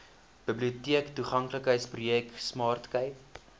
biblioteektoeganklikheidsprojek smart cape